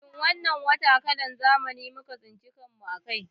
Shin wannan wata kalan zamani muka tsinci kan mu a kai